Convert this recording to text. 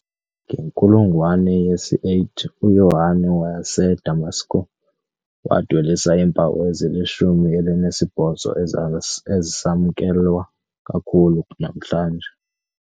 Ngenkulungwane yesi-8, uYohane waseDamasko wadwelisa iimpawu ezilishumi elinesibhozo ezisamkelwa kakhulu namhlanje.